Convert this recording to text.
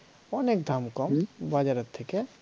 অনেক দাম কম বাজারের থেকে